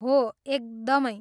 हो, एकदमै!